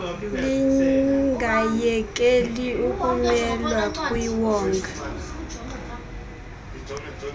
lingayekeli ukumelwa kwiwonga